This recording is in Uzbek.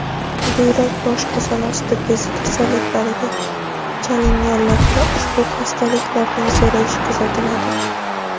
buyrak va oshqozon osti bezi kasalliklariga chalinganlarda ushbu xastaliklarning zo‘rayishi kuzatiladi.